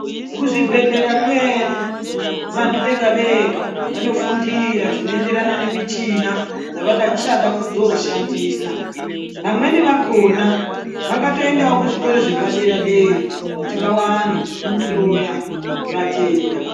Kuzvibhehlera kwedu vantu vega vega vanofundira zvinoenderana nemichina dzavada chada kuzoshandisa. Vamweni vakhona vakatoendawo pazvikora zvepaderadera kuti vawane kuhloya vatenda.